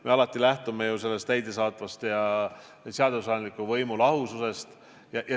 Me alati lähtume ju täidesaatva ja seadusandliku võimu lahususest.